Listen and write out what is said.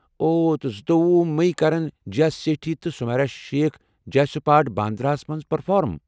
اوہ، تہٕ زٕتووُہ میی كرن جیٖیا سیٹھی تہٕ سمیرا شیخ جے سُپاٹ، باندرہ ہَس مَنٛز پرفارٕم۔